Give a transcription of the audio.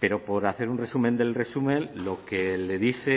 pero por hacer un resumen del resumen lo que le dice